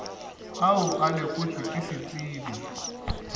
ao a lekotšwe ke ditsebi